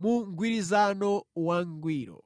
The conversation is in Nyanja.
mu mgwirizano wangwiro.